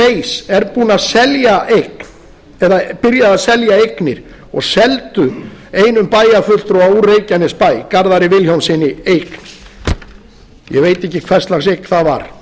base er byrjað að selja eignir og seldu einum bæjarfulltrúa úr reykjanesbæ garðari vilhjálmssyni eign ég veit ekki hvers lags eign það var